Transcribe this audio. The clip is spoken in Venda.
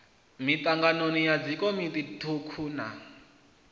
mitangano ya dzikomiti thukhu na